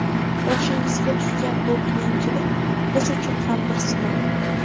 Boshingizga tushgan bu qiyinchilik biz uchun ham bir sinov.